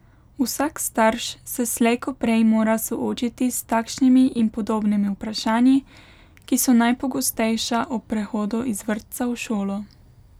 Vsak starš se slej ko prej mora soočiti s takšnimi in podobnimi vprašanji, ki so najpogostejša ob prehodu iz vrtca v šolo.